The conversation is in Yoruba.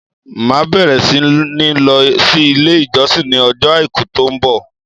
Màá bẹ̀rẹ̀ sí ní lọ sí ilé ìjọsìn ní ọjọ́ Àìkú tó ń bọ̀.